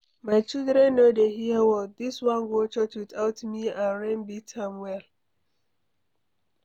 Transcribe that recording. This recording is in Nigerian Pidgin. My children no dey hear word, dis one go church without me and rain beat am well.